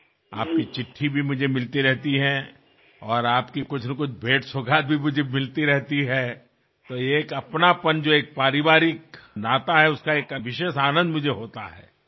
আপনার পত্র আমি নিয়মিত পাই আপনার পাঠানো কিছু না কিছু উপহারও নিয়মিত আসে আমার কাছে আর এই যে অন্তরঙ্গতা যা আসলে এক পারিবারিক সম্পর্ক তা আমাকে বিশেষ ভাবে আনন্দ দেয়